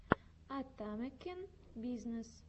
атамекен бизнес